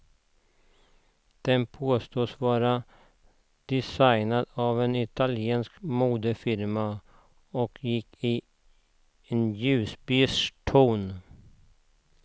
Den påstås vara designad av en italiensk modefirma och gick i en ljusbeige ton.